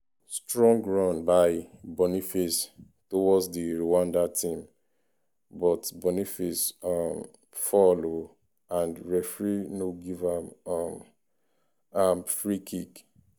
strong run by boniface towards di rwanda team but boniface um fall oooo and referee no give um am free kick.